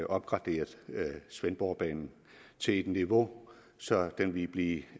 opgraderet svendborgbanen til et niveau så den ville blive